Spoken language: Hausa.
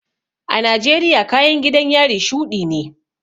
A Najeriya kayan gidan yari shuɗi ne